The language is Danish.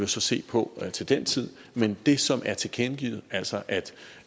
så se på til den tid men det som er tilkendegivet altså at